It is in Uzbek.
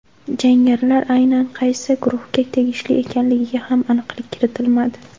Jangarilar aynan qaysi guruhga tegishli ekanligiga ham aniqlik kiritilmadi.